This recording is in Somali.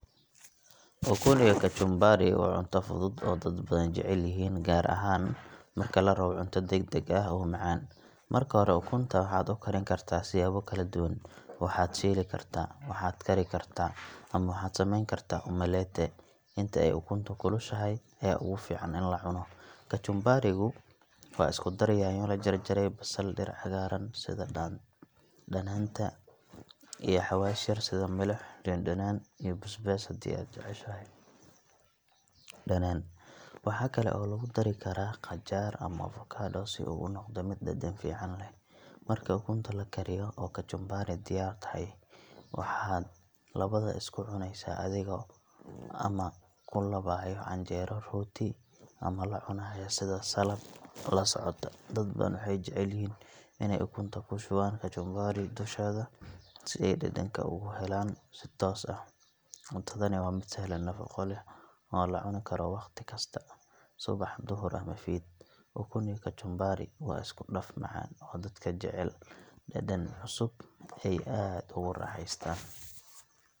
Ukun iyo kajumbaari waa cunto fudud aay dad badan aay jecel yihiin, gaar ahaan marka larabo cunto dagdag ah oo macaan, marka hore ukunta waxaa ukarin kartaa siyaabo kala duban, waxaad shiili kartaa, waxaad kari kartaa, ama waxaad sameyni kartaa umalete, inta aay ukunta kulushahay ayaa ugu fican in lacuno, kajumbarigu waa isku dar nyanya lajarjaray, basal, dir cagaaran sida danaanta iyo xawaashiga, sida milix dandanaan iyo bisbaas hadii aad jeceshahay, waxaa kale oo lagu dari karaa qajaar ama ovacado si uu unoqdo mid dadan fican leh, marka ukunta lakariyo oo kajumbaari diyaar tahay, waxaad labada isku cuneysa adhigo ama kulabaayo canjeero, rooti ama sida salad kasocoto, dad badan waxeey jecel yihiin ineey ukunta kushubaan kajumbaari dusheeda, si aay dadanka ugu helaan si toos ah, cuntadana waa mid sahlan, nafaqo leh oo lacuni karo waqti walbo subax, duhur iyo fiid, ukun iyo kajumbaari waa isku daf fican aay dadka jecel yihiin oo aad aay ugu raaxestaan.